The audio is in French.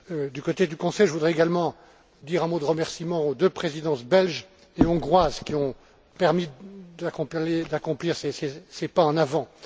Du côté du Conseil, je voudrais également dire un mot de remerciements aux deux présidences belge et hongroise qui ont permis d'accomplir ces pas en avant.